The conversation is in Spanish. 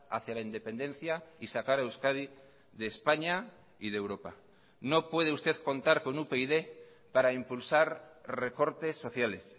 hacia la independencia y sacar a euskadi de españa y de europa no puede usted contar con upyd para impulsar recortes sociales